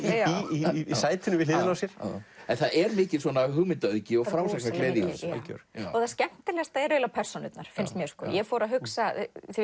í sætinu við hliðina á sér það er mikil hugmyndaauðgi og frásagnargleði í þessu já og það skemmtilegasta er persónurnar finnst mér ég fór að hugsa